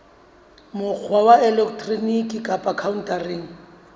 mokgwa wa elektroniki kapa khaontareng